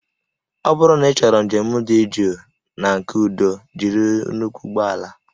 Ọ bụrụ na ịchọrọ njem dị jụụ na nke udo jiri nnukwu ụgbọ ala